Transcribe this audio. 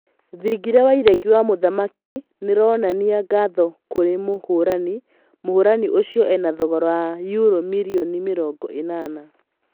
Thingira wa iregi wa mũthamaki nĩronania ngatho kũrĩ mũhũrani, mũhũrani ũcio ena thogora wa yuro mirioni mĩrongo ĩnana